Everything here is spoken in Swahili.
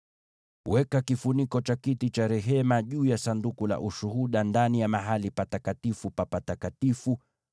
Weka kifuniko cha kiti cha rehema juu ya Sanduku la Ushuhuda ndani ya Patakatifu pa Patakatifu.